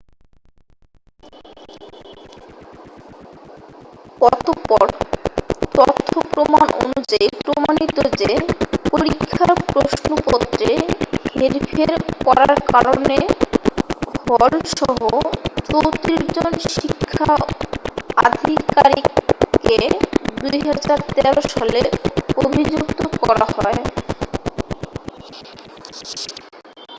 অতঃপর তথ্য প্রমাণ অনুযায়ী প্রমাণিত যে, পরীক্ষার প্রশ্নপত্রে হেরফের করারকারণে হল-সহ 34 জন শিক্ষা আধিকারিককে 2013 সালে অভিযুক্ত করা হয়।